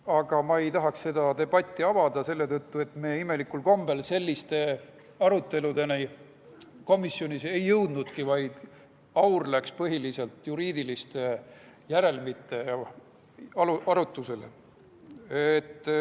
Aga ma ei tahaks seda debatti avada selle tõttu, et imelikul kombel selliste aruteludeni komisjonis ei jõutudki, vaid aur läks põhiliselt juriidiliste järelmite arutusele.